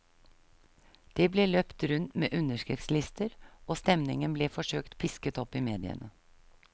Det ble løpt rundt med underskriftslister, og stemningen ble forsøkt pisket opp i mediene.